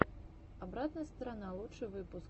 обратная сторона лучший выпуск